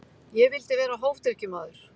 Ég vildi vera hófdrykkjumaður.